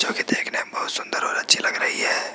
जो कि देखने में बहुत सुंदर और अच्छी लग रही है।